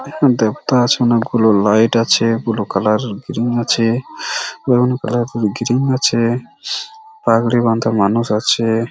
Light আছে blue colour এর আছে। কালার এর আছে। পাগড়ি বাধা মানুষ আছে।